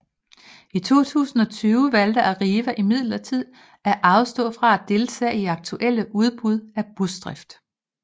I 2020 valgte Arriva imidlertid at afstå fra at deltage i aktuelle udbud af busdrift